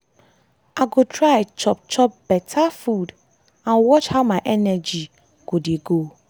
i go try chop chop beta food and watch how my energy go dey go.